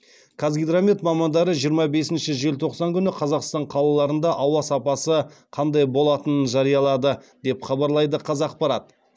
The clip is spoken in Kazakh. қазгидромет мамандары жиырма бесінші желтоқсан күні қазақстан қалаларында ауа сапасы қандай болатынын жариялады деп хабарлайды қазақпарат